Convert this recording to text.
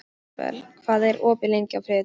Ísabel, hvað er opið lengi á þriðjudaginn?